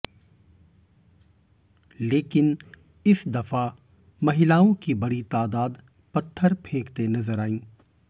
लेकिन इस दफा महिलाओं की बड़ी तादाद पत्थर फेंकते नजर आईं